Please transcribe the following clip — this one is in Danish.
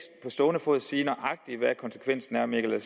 stående fod sige nøjagtig hvad konsekvensen er men jeg